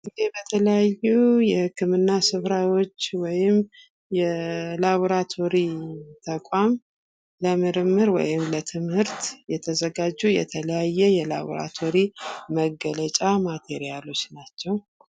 በተለያዩ የህክምና ስፍራዎች ወይም የላብራቶሪ ተቋም ለምርምር ወይም ለትምህርት የተዘጋጁ የተለያየ የላብራቶሪ መግለጫዎች ናቸው።